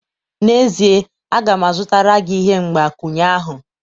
N'ezie, a ga m azụtara gị ihe mgbakwunye ahụ